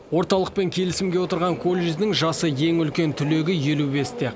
орталықпен келісімге отырған колледждің жасы ең үлкен түлегі елу бесте екен